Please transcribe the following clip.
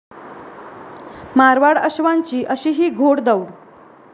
मारवाड अश्वांची अशीही घोडदौड